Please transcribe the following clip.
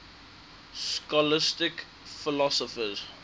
scholastic philosophers